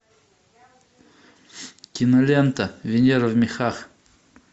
кинолента венера в мехах